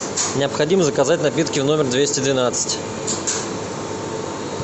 необходимо заказать напитки в номер двести двенадцать